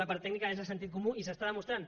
la part tècnica és de sentit comú i s’està demostrant